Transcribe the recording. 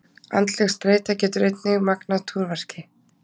Andleg streita getur einnig magnað túrverki.